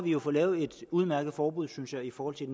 jo fået lavet et udmærket forbud synes jeg i forhold til